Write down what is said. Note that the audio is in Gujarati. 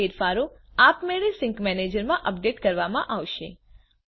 આ ફેરફારો આપમેળે સિંક મેનેજરમાં અપડેટ કરવામાં આવશે